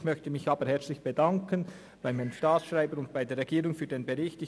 Ich möchte mich herzlich beim Herrn Staatsschreiber und bei der Regierung für den Bericht bedanken.